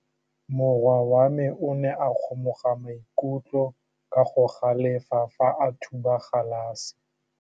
Morwa wa me o ne a kgomoga maikutlo ka go galefa fa a thuba galase.